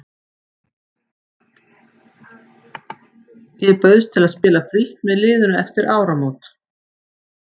Ég bauðst til að spila frítt með liðinu eftir áramót.